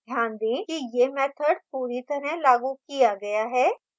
ध्यान दें कि यह मैथड पूरी तरह लागू किया गया है